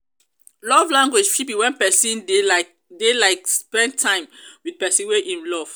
love language fit be when persin dey like dey like spend time with persin wey im love